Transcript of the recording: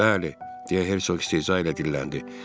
Bəli, deyə Hersoq istehza ilə dilləndi.